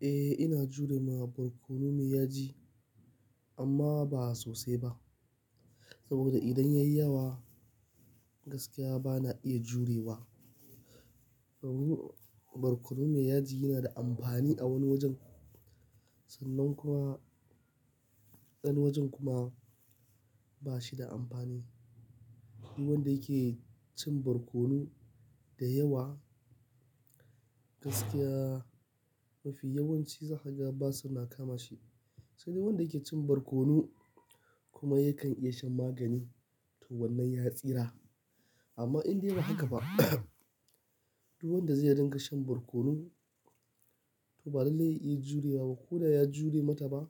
Eh, ina jurewa barkono mai yaji amma ba sosai ba. Saboda idan ya yi yawa, gaskiya ba na iya jurewa. Barkono mai yaji yana da amfani a wani wajen, sannan kuma, ɗan wajen kuma ba shi da amfani. Duk wanda yake cin barkono da yawa, gaskiya mafi yawanci zaka ga basu na kama shi. Sanye wanda yake cin barkono kuma yakan iya shan magani to wannan ya tsira. Amma indai ba haka ba, duk wanda zai ringa shan barkono to ba lallai ya iya jurewa ba. Ko da ya jure mataba,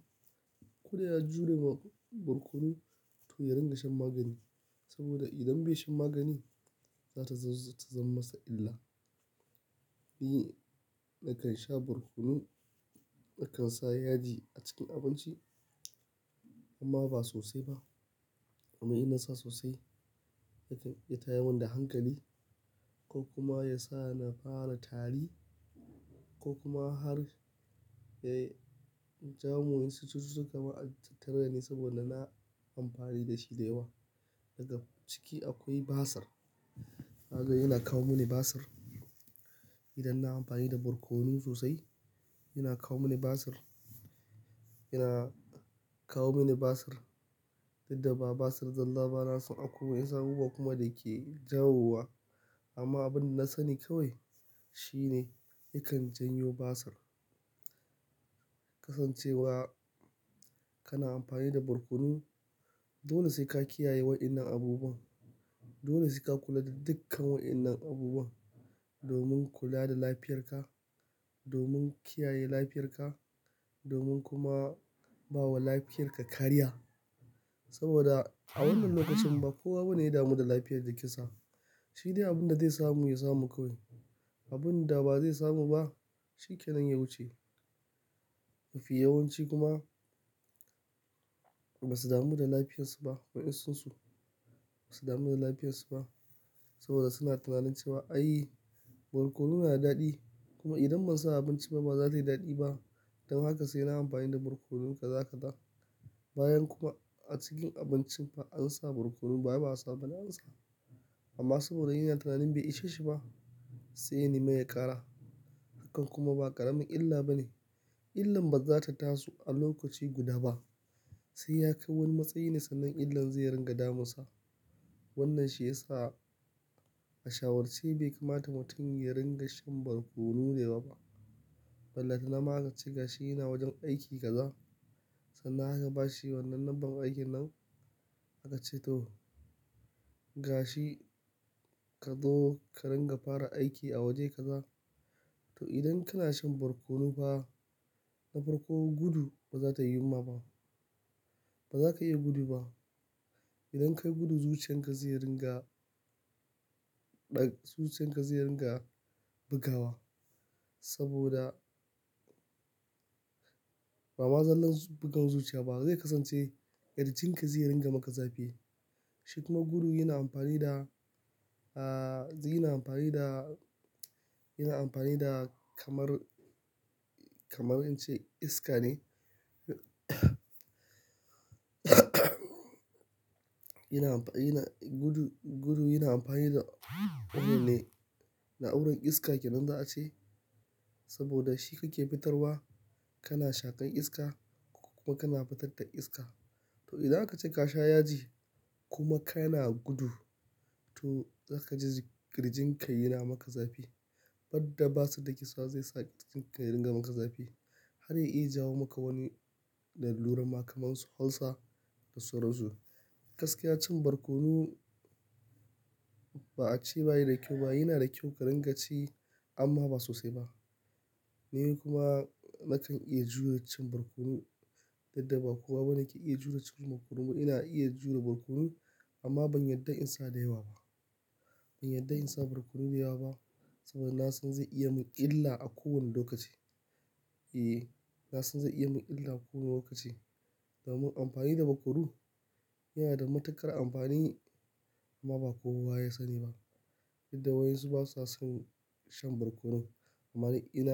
ko da ya jure ma barkono to ya ringa shan magani. Saboda idan bai shan magani, za ta zama masa illa. Ni nakan sha barkono, nakan sa yaji a cikin abinci amma ba sosai ba. Amma ina sa sosai yakan ya tayi min da hankali ko kuma ya sa na fara tari ko kuma har ya-- jamu yin su suka ma tattauna ni saboda na amfani da shi da yawa. Daga ciki akwai basir. Kaga yana kawo mini basir. Idan na amfani da barkono sosai, yana kawo mini basir. Yana kawo mini basir, duk da ba basir, zalla ba nasan akwai wasu kuma da ke jawo wa. Amma abin da na sani kawai shine yakan janyo basir. Kasancewa kana amfani da barkono, dole sai ka kiyaye waɗannan abubuwan. Dole sai ka kula da dukkan waɗannan abubuwan, domin kula da lafiyarka, domin kiyaye lafiyarka, domin kuma bawa lafiyarka kariya. Saboda a wannan lokacin ba kowa bane ya damu da lafiyar da kisa. Shi dai abin da zai samu, ya samu kawai. Abin da ba zai samu ba, shi kenan ya wuce. Mafi yawanci kuma ba su damu da lafiyarsu ba. Waɗansu su ba su damu da lafiyarsu ba saboda suna tunanin cewa, "ai, barkono yana daɗi kuma idan ban sa a abinci ba, ba za ta yi daɗi ba. Don haka sai na amfani da barkono kaza, kaza." bayan kuma a cikin abincin fa an sa barkono ba, ba a sa bana an sa. Amma saboda yana tunanin bai ishe shi ba, sai ya nemi ya ƙara. Hakan kuma ba ƙaramin illa bane. Illan bazata taso a lokaci guda ba, sai ya kai wani matsayi ne sannan illan zai ringa damunsa. Wannan shi ya sa a shawarce bai kamata mutum ya ringa shan barkono da yawa ba. Ballatana ma aka ce gashi yana wajen aiki kaza sannan haka ba shi wannan lambar aikin nan aka ce to, "gashi ka zo ka ringa fara aiki a waje kaza." To idan kana shan barkono fa, na farko gudu ba za ta yiwu ma ba. Ba za ka iya gudu ba. Idan ka gudu zuciyan ka zai ringa ɗan-- zuciyan ka zai ringa bugawa saboda ba ma zallan bugan zuciya ba. Zai kasance ƙarancin ka zai ringa maka zafi. Shi kuma gudu yana amfani da, ah, yana amfani da, yana amfani da kamar, kamar in ce iska ne. Yana amfani, yana-- gudu, gudu yana amfani da wannan ne na'urar iska ke nan za a ce. Saboda shi kake fitarwa, kana shaƙan iska kuma kana fitar da iska. To idan aka ce ka sha yaji kuma kana gudu to zaka ji ƙirjin ka yana maka zafi. Badda basu da kisa zai sa ƙirjin ka ringa maka zafi har ya iya jawo maka wani lalura ma kamansu, halsa da sauran su. Gaskiya cin barkono ba a ce bayi da kyau ba. Yana da kyau ka ringa ci amma ba sosai ba. Ni kuma nakan iya jure cin barkono, duk da ba kowa bane yake iya jure cin barkono. Ni ina iya jure barkono amma ban yarda in sa da yawa ba. Ban yarda in sa barkono da yawa ba saboda na san zai iya mun illa a kowane lokaci. Eh, na san zai iya mun illa a kowane lokaci. Domin amfani da barkono yana da matuƙar amfani amma ba kowa ya sani ba. Duk da wasu basa son shan barkono. Amma ni ina.